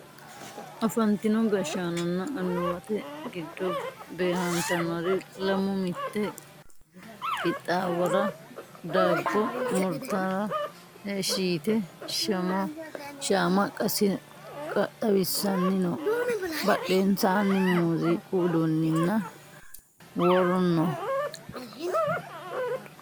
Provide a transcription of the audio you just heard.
afantino gashshaanonna annuwate giddo beehantannori lamu mitte qixaawora daabbo murtara heeshshi yite shaama xawissanni no badhensaanni muziiqu uduunninna wpluri no